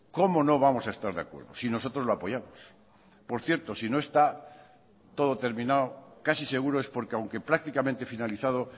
cómo no vamos a estar de acuerdo si nosotros lo apoyamos por cierto si no está todo terminado casi seguro es porque aunque prácticamente finalizado